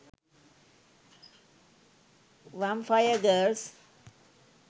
vampire girls